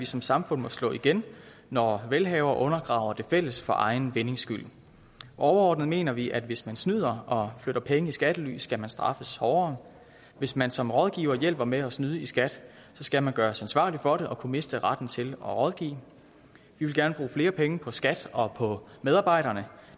som samfund må slå igen når velhavere undergraver det fælles for egen vindings skyld overordnet mener vi at hvis man snyder og flytter penge i skattely skal man straffes hårdere og hvis man som rådgiver hjælper med at snyde i skat skal man gøres ansvarlig for det og skal kunne miste retten til at rådgive vi vil gerne bruge flere penge på skat og på medarbejderne